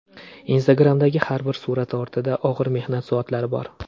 Instagram’dagi har bir surat ortida og‘ir mehnat soatlari bor”.